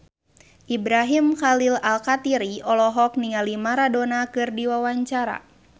Ibrahim Khalil Alkatiri olohok ningali Maradona keur diwawancara